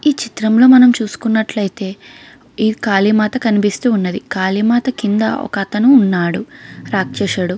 ఈ చిత్రం లో మనం చూసుకున్నట్లతే ఈ కాళీమాత కనిపిస్తూ ఉన్నది కాళీమాత కింద ఒక అతను ఉన్నాడు రాక్షషుడు.